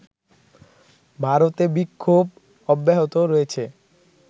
ভারতে বিক্ষোভ অব্যাহত রয়েছে